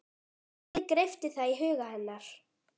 Límið greypti það í huga hennar.